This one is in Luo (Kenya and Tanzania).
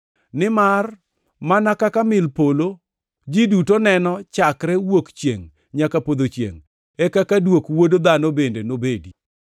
Nimar mana kaka mil polo ji duto neno chakre wuok chiengʼ nyaka podho chiengʼ, e kaka dwok Wuod Dhano bende nobedi.